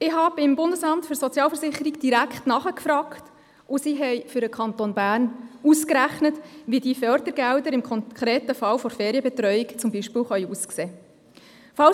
Ich habe direkt beim Bundesamt für Sozialversicherungen (BSV) nachgefragt, und man hat für den Kanton Bern ausgerechnet, wie diese Fördergelder im konkreten Fall der Ferienbetreuung zum Beispiel aussehen könnten.